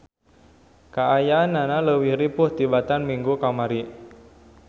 Kaayananan leuwih ripuh tibatan minggu kamari.